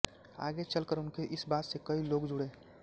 आगे चल कर उनके इस बात से कई लोग जुड़े